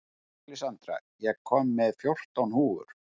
Alexandra, ég kom með fjórtán húfur!